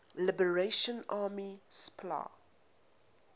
liberation army spla